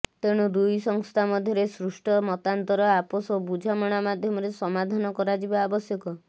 ତେଣୁ ଦୁଇ ସଂସ୍ଥା ମଧ୍ୟରେ ସୃଷ୍ଟ ମତାନ୍ତର ଆପୋସ ବୁଝାମଣା ମାଧ୍ୟମରେ ସମାଧାନ କରାଯିବା ଆବଶ୍ୟକ